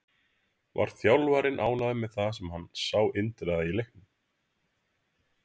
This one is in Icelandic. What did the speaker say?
Var þjálfarinn ánægður með það sem hann sá Indriða í leiknum?